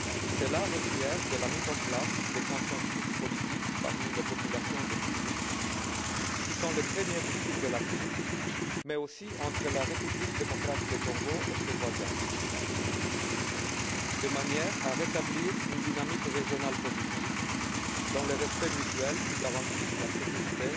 Ceci passe par la mise en place d'un consensus politique parmi les populations du Kivu, qui sont les premières victimes de la crise, mais aussi entre la République démocratique du Congo et ses voisins, de manière à rétablir une dynamique régionale positive, dans le respect mutuel, dans le but de garantir la sécurité,